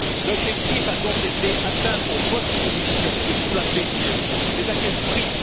L'objectif a donc été atteint pour votre Commission et pour la BCE, mais à quel prix?